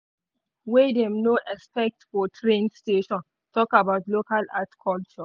one exhibit wey dem no expect for train station talk about local art culture.